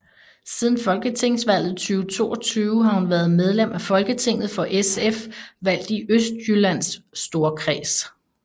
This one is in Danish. Siden Folketingsvalget 2022 har hun været medlem af Folketinget for SF valgt i Østjyllands Storkreds